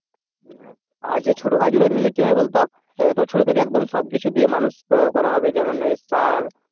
আর ছোট গাছগুলো নিলে কি হবে বলতো ছোট থেকে একদম সবকিছু দিয়ে মানুষ করা হবে, যেমন সার